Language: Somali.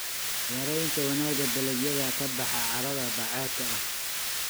Yaraynta wanaagga dalagyada ka baxa carrada bacaadka ah.